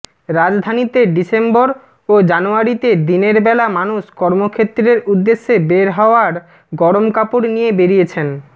রাজধানীতে ডিসেম্বর ও জানুয়ারিতে দিনের বেলা মানুষ কর্মক্ষেত্রের উদ্দেশে বের হওয়ার গরম কাপড় নিয়ে বেরিয়েছেন